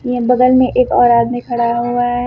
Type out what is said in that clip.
के बगल में एक और आदमी खड़ा हुआ है।